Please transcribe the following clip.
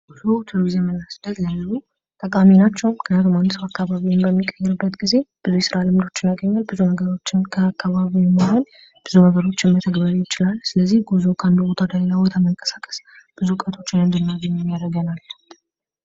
ጉዞ ቱሪዝምና ስደት ለሌሎች ጠቃሚ ናቸው። ምክንያቱም አንድ ሰው አካባቢውን በሚቀይርበት ጊዜ ብዙ የስራ ልምዶችን ያገኛሉ ብዙ ነርሮችን መተግበርንም ይችላሉ ጉዞ ከአንድ ቦታ ወደቦታችንን እንድናገኝ ያደርጋል።